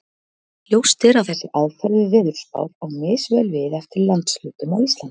Ljóst er að þessi aðferð við veðurspár á misvel við eftir landshlutum á Íslandi.